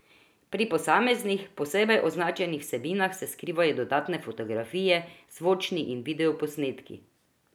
Pri posameznih, posebej označenih vsebinah se skrivajo dodatne fotografije, zvočni in video posnetki ...